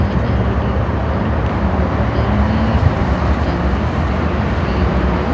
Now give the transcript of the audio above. है एलईडी औरअम्म होटल में अम् कैमरे फिटिन किए हुए हैं।